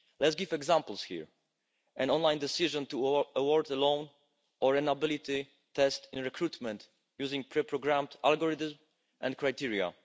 Let's give examples here an online decision to award a loan or an ability test in recruitment using pre-programmed algorithms and criteria.